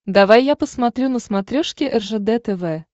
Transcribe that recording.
давай я посмотрю на смотрешке ржд тв